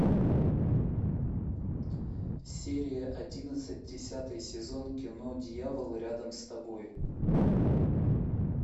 серия одиннадцать десятый сезон кино дьявол рядом с тобой